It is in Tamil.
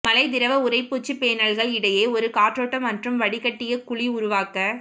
மழை திரவ உறைப்பூச்சு பேனல்கள் இடையே ஒரு காற்றோட்டம் மற்றும் வடிகட்டிய குழி உருவாக்க